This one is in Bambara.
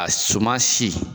A suma si.